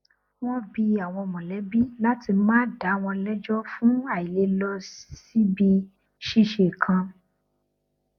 wọn bi àwọn mọlẹbi láti má dàá wọn lẹjọ fún àìlè lọ síbi ṣíṣe kan